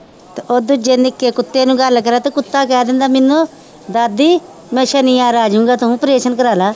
ਤੇ ਉਹ ਦੂਜੇ ਨਿੱਕੇ ਕੁੱਤੇ ਨੂੰ ਗੱਲ ਕਰਾਂ ਤੇ ਕੁੱਤਾ ਕਹਿ ਦਿੰਦਾ ਮੈਨੂੰ ਦਾਦੀ ਮੈਂ ਸਨੀਵਾਰ ਆ ਜਾਊਂਗਾ ਤੂੰ operation ਕਰਵਾ ਲਾ